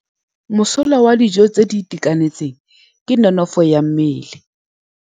Mosola wa dijô tse di itekanetseng ke nonôfô ya mmele.